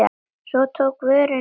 Svo tók vörnin við.